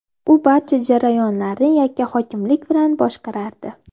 U barcha jarayonlarni yakkahokimlik bilan boshqarardi.